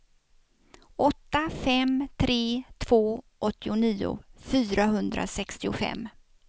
åtta fem tre två åttionio fyrahundrasextiofem